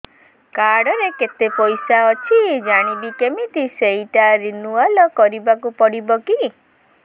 card ରେ କେତେ ପଇସା ଅଛି ଜାଣିବି କିମିତି ସେଟା ରିନୁଆଲ କରିବାକୁ ପଡ଼ିବ କି